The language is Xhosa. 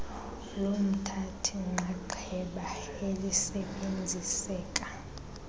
lomthathi nxxaxheba elisebenziseka